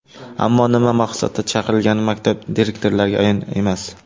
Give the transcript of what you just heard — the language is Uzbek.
Ammo nima maqsadda chaqirilgani maktab direktorlariga ayon emas.